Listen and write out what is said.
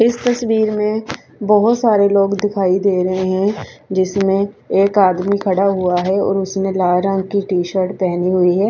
इस तस्वीर में बहोत सारे लोग दिखाई दे रहे हैं जिसमें एक आदमी खड़ा हुआ है और उसने लाल रंग की टी_शर्ट पहनी हुई है।